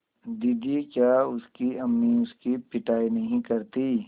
दीदी क्या उसकी अम्मी उसकी पिटाई नहीं करतीं